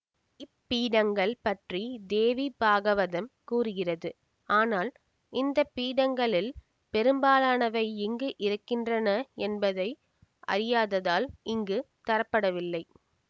இப்பீடங்கள் பற்றி தேவி பாகவதம் கூறுகிறது ஆனால் இந்த பீடங்களில் பெரும்பாலானவை எங்கு இருக்கின்றன என்பதை அறியாததால் இங்கு தரப்படவில்லை